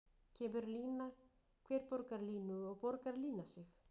Kemur lína, hver borgar línu og borgar lína sig?